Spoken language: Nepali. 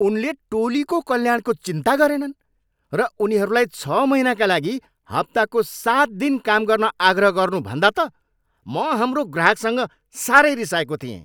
उनले टोलीको कल्याणको चिन्ता गरेनन् र उनीहरूलाई छ महिनाका लागि हप्ताको सात दिन काम गर्न आग्रह गर्नु भन्दा त म हाम्रो ग्राहकसँग साह्रै रिसाएको थिएँ।